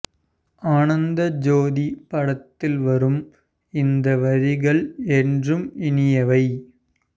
ஆனந்த ஜோதி படத்தில் வரும் இந்த வரிகள் என்றும் இனியவை